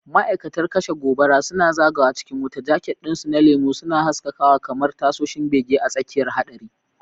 Ma'aikatan kashe gobara suna zagawa cikin wuta, jaket ɗinsu na lemu suna haskakawa kamar tasoshin bege a tsakiyar haɗari.